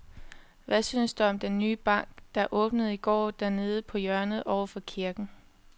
Hvad synes du om den nye bank, der åbnede i går dernede på hjørnet over for kirken?